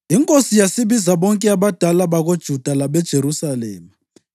Inkosi yasibiza bonke abadala bakoJuda labeJerusalema.